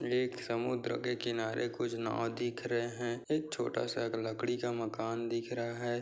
एक समुद्र के किनारे कुछ नाँव दिख रहे है एक छोटा-सा एक लकड़ी का मकान दिख रहा है।